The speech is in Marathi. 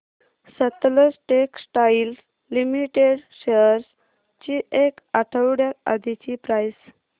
सतलज टेक्सटाइल्स लिमिटेड शेअर्स ची एक आठवड्या आधीची प्राइस